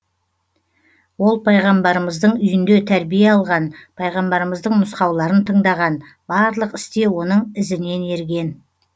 ол пайғамбарымыздың үйінде тәрбие алған пайғамбарымыздың нұсқауларын тындаған барлық істе оның ізінен ерген